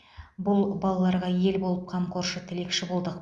бұл балаларға ел болып қамқоршы тілекші болдық